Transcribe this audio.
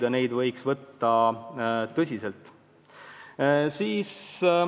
Neid hoiatusi võiks võtta tõsiselt.